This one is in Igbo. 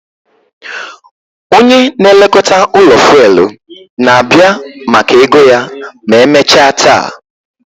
Onye na-elekọta ụlọ fuelu na-abịa maka ego ya ma emechaa taa